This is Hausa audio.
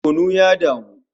Kunu ya damu